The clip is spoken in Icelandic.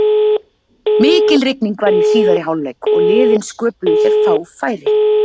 Mikil rigning var í síðari hálfleik og liðin sköpuðu sér fá færi.